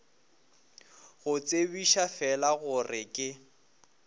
go tsebiša fela gore ke